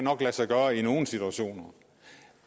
lade sig gøre i nogle situationer